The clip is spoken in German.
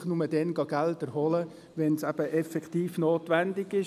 Man soll natürlich nur dann Gelder holen gehen, wenn es effektiv notwendig ist.